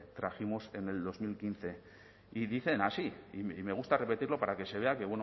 trajimos en dos mil quince y dicen así y me gusta repetirlo para que se vea